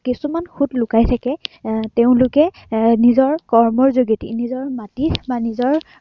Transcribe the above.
কিছুমান খুঁত লুকাই থাকে। এৰ তেওঁলোকে এৰ নিজৰ কৰ্মৰ যোগেদি নিজৰ মাটিত বা নিজৰ